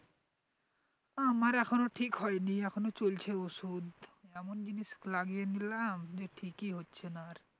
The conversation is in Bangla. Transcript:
আমার এখনও ঠিক হয়নি এখনও চলছে ওষুধ এমন জিনিস লাগিয়ে নিলাম যে ঠিকই হচ্ছে না আর